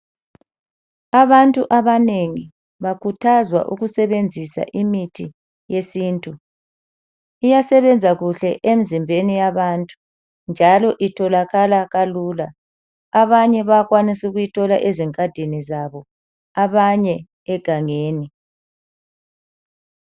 Abantu abanengi bakhuthazwa ukusebenzisa imithi yesintu. Iyasebenza kuhle emzimbeni yabantu njalo itholakala kalula abanye bayakwanisa ukuyithola ezingadini zabo abanye egangeni.